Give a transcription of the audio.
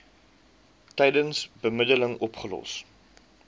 tydens bemiddeling opgelos